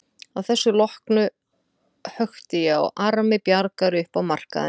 Að þessu loknu hökti ég á armi Bjargar upp á markaðinn.